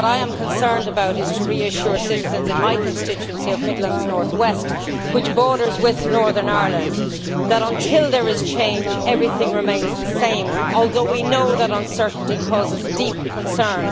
What I am concerned about is to reassure citizens in my constituency of Midlands North West, which borders with Northern Ireland, that, until there is change, everything remains the same, although we know that uncertainty causes deep concern.